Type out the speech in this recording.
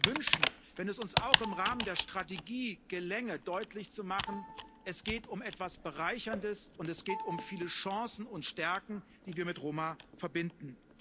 Ich würde mir wünschen, dass es uns auch im Rahmen der Strategie gelänge, deutlich zu machen Es geht um etwas Bereicherndes und um viele Chancen und Stärken, die wir mit Roma verbinden.